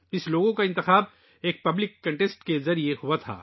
اس logo کا انتخاب ایک عوامی مقابلے کے ذریعے کیا گیا تھا